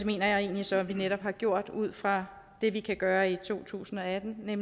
mener jeg så at vi netop har gjort ud fra det vi kan gøre i to tusind og atten ved